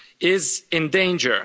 is in danger.